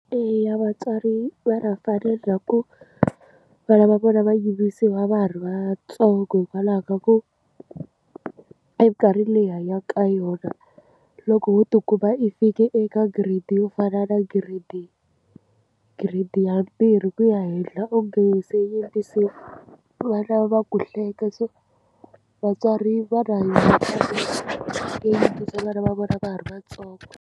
Eya, vatswari va ku vana va vona va yimbisiwa va ha ri vantsongo hikwalaho ka ku, minkarhi leyi hi hanyaka ka yona loko wo ti kuma i fike eka grade yo fana na grade grade ya mbirhi ku ya henhla u nge se yimbisiwa, vana va ku hleka. So vatswari va yo yimbisa vana va vona va ha ri vantsongo.